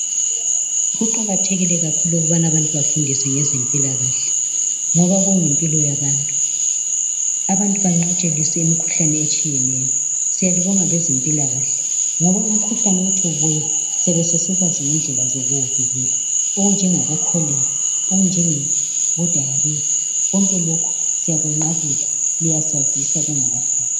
Kuqakathekile kakhulu ukubana abantu befundiswe ngezempilakahle ngoba kuyimpilo yabantu, abantu banqotshiswe imikhuhlane etshiyeneyo. Siyalibonga bezempilakahle ngoba umkhuhlane uthi ubuya siyabe sesikwazi ngendlela zokuzivikela okunjengabo cholera, okunjengediarrhoea konke lokho liyasazisa kungakafiki.